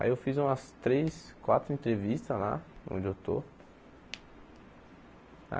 Aí eu fiz umas três, quatro entrevistas lá, onde eu estou.